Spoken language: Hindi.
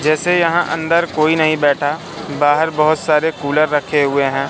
जैसे यहां अंदर कोई नहीं बैठा बाहर बहुत सारे कूलर रखे हुए हैं।